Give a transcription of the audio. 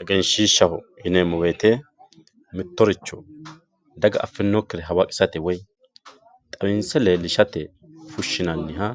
Eggeenshiishaho yineemo woyite mittoricho daga afinokire hawaqisate woyi xawinse leelishate fushinaniha